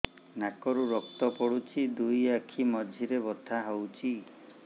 ନାକରୁ ରକ୍ତ ପଡୁଛି ଦୁଇ ଆଖି ମଝିରେ ବଥା ହଉଚି